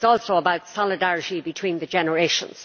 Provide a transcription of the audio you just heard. It is also about solidarity between the generations.